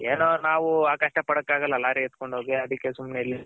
ಏನೋ ನಾವು ಆ ಕಷ್ಟ ಪಡಕ್ಕಗಲ್ಲ ಲಾರಿ ಎತ್ಕೊಂಡ್ ಹೋಗಿ ಅದಕ್ಕೆ ಸುಮ್ನೆ ಇಲ್ಲಿ